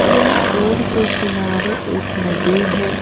यह रोड के किनारे एक नदी है।